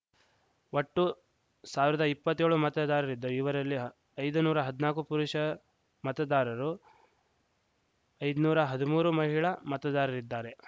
ಒಟ್ಟು ಸಾವಿರದ ಎಪ್ಪತ್ತೇಳು ಮತದಾರರಿದ್ದು ಇವರಲ್ಲಿ ಐದುನೂರ ಹದ್ನಾಕು ಪುರುಷ ಮತದಾರರು ಐದುನೂರ ಹದ್ಮೂರು ಮಹಿಳಾ ಮತದಾರರಿದ್ದಾರೆ